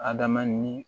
Adama ni